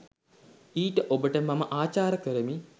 ඊට ඔබට මම අචාර කරමි